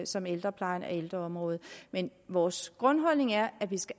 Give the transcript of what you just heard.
som ældreplejen og ældreområdet men vores grundholdning er at vi